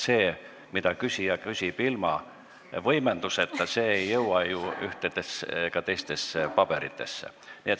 See, mida küsija ütleb ilma võimenduseta, ei jõua ju ühtedesse ega teistesse paberitesse.